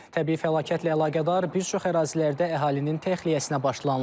Təbii fəlakətlə əlaqədar bir çox ərazilərdə əhalinin təxliyəsinə başlanılıb.